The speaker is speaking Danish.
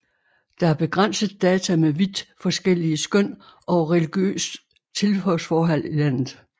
Der er begrænset data med vidt forskellige skøn over religiøst tilhørsforhold i landet